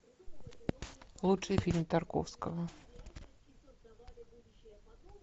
лучший фильм тарковского